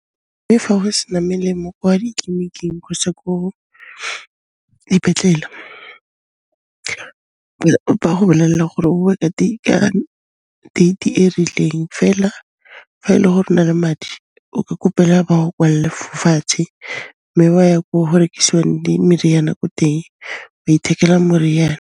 Mme fa go sena melemo kwa ditleliniking kgotsa ko dipetlele, ba go bolelela gore o boe ka date di e rileng fela fa e le gore o na le madi, o ka kopela ba go kwalle fo fatshe, mme wa ya ko go rekisiwang meriana ko teng, wa ithekela moriana.